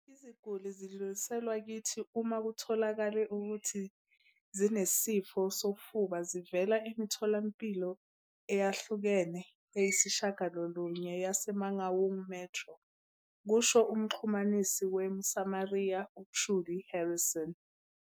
"Iziguli zidluliselwa kithi uma kutholakale ukuthi zinesifo sofuba zivela emitholampilo eyahlukene eyisishiyagalolunye yase-Mangaung Metro," kusho umxhumanisi we-Mosamaria, u-Trudie Harrison.